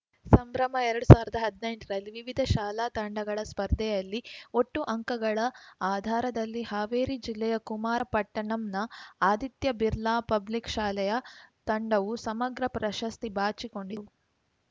ಸಂಭ್ರಮ ಎರಡ್ ಸಾವಿರ್ದಾ ಹದ್ನೆಂಟರಲ್ಲಿ ವಿವಿಧ ಶಾಲಾ ತಂಡಗಳ ಸ್ಪರ್ಧೆಯಲ್ಲಿ ಒಟ್ಟು ಅಂಕಗಳ ಆದಾರದಲ್ಲಿ ಹಾವೇರಿ ಜಿಲ್ಲೆಯ ಕುಮಾರ ಪಟ್ಟಣಂನ ಆದಿತ್ಯ ಬಿರ್ಲಾ ಪಬ್ಲಿಕ್‌ ಶಾಲೆಯ ತಂಡವು ಸಮಗ್ರ ಪ್ರಶಸ್ತಿ ಬಾಚಿಕೊಂಡಿತು